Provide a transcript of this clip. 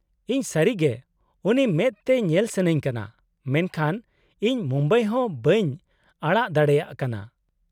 -ᱤᱧ ᱥᱟᱹᱨᱤ ᱜᱮ ᱩᱱᱤ ᱢᱮᱫ ᱛᱮ ᱧᱮᱞ ᱥᱟᱹᱱᱟᱹᱧ ᱠᱟᱱᱟ , ᱢᱮᱱᱠᱷᱟᱱ ᱤᱧ ᱢᱩᱢᱵᱟᱭ ᱦᱚᱸ ᱵᱟᱹᱧ ᱟᱲᱟᱜ ᱫᱟᱲᱮᱭᱟᱜ ᱠᱟᱱᱟ ᱾